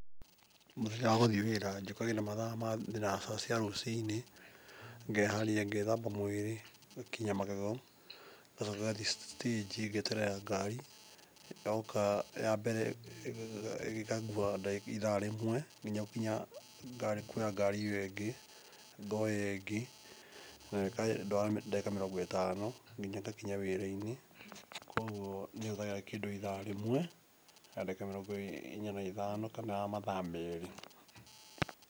Mũthenya wa gũthiĩ wĩra njũkagĩra mathaa ma thinacara cia rũcinĩ, ngeharĩria, ngethamba mwĩrĩ, ngakinya magego ngacoka ngathiĩ citĩnji, ngeterera ngari, yoka ya mbere ĩkangua ithaa rĩmwe nginya gũkinya kuoya ngari ĩo ĩngĩ. Ngoya ĩngĩ, nayo ĩkandwara ndagĩka mĩrongo ĩtano ningĩ ngakinya wĩra-inĩ, kũoguo nĩ hũthagĩra kĩndũ ithaa rĩmwe na nagĩka mĩrongo ĩrĩ na ithano kana mathaa merĩ.